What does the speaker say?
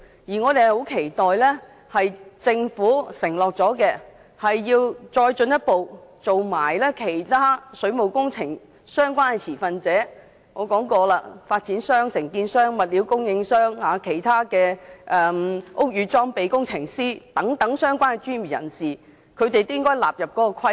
我們十分期待政府能兌現承諾，進一步將其他水務工程相關的持份者，例如我先前提到的發展商、承建商、物料供應商、其他的屋宇裝備工程師等相關專業人士一併納入規管。